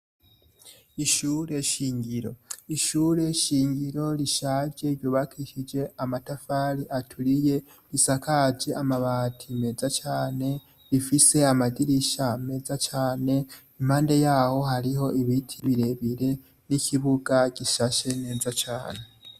Ishure shingiro. Ishure shingiro rishaje ryubakishije amatafari aturiye, risakaje amabati meza cane, rifise amadirisha meza cane, impande yaho hariho ibiti birebire, n'ikibuga gishashe neza cane.